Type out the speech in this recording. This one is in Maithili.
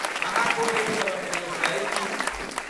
अहाँ कोन एप सभक प्रयोग करैत छी?